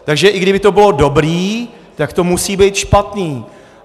Takže i kdyby to bylo dobré, tak to musí být špatné.